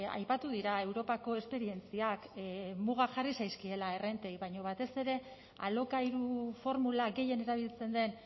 aipatu dira europako esperientziak mugak jarri zaizkiela errentei baina batez ere alokairu formula gehien erabiltzen den